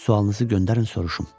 Sualınızı göndərin, soruşum.